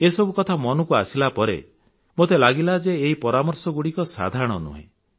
ଏସବୁ କଥା ମନକୁ ଆସିଲା ପରେ ମୋତେ ଲାଗିଲା ଯେ ଏଇ ପରାମର୍ଶଗୁଡ଼ିକ ସାଧାରଣ ନୁହେଁ